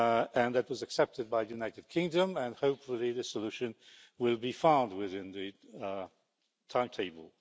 and that was accepted by the United Kingdom, and hopefully the solution will be found within the timetable.